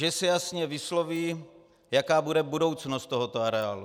že se jasně vysloví, jaká bude budoucnost tohoto areálu.